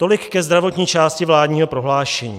Tolik ke zdravotní části vládního prohlášení.